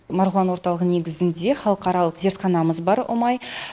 марғұлан орталығы негізінде халықаралық зертханамыз бар ұмай